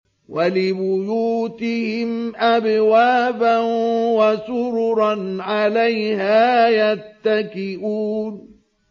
وَلِبُيُوتِهِمْ أَبْوَابًا وَسُرُرًا عَلَيْهَا يَتَّكِئُونَ